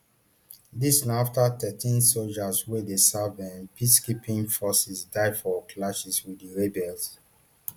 dis na afta thirteen sojas wey dey serve um peacekeeping forces die for clashes wit di rebels